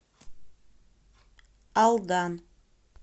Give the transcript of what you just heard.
алдан